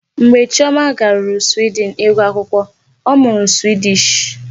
Mgbe Chioma garuru Sweden ịgụ akwụkwọ, ọ mụrụ Swedish.